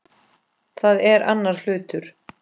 Það er annar hlutur.